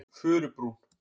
Furubrún